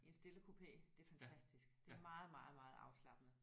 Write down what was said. I en stillekupé det er fantastisk det er meget meget meget afslappende